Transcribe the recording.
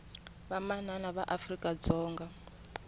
vamanana va afrika dzonga